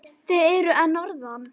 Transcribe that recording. Þeir eru að norðan.